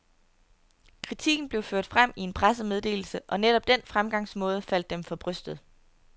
Kritikken blev ført frem i en pressemeddelse, og netop den fremgangsmåde faldt dem for brystet.